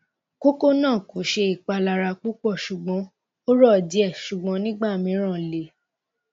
koko naa ko ṣe ipalara pupọ ṣugbọn o ro die sugbon nigbamiran le